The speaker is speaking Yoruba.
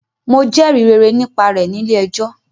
Mo jẹrìí rere nípa rẹ̀ nílé ẹjọ́.